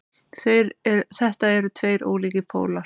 Þetta eru tveir ólíkir pólar.